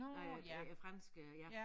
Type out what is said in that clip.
Øh franske ja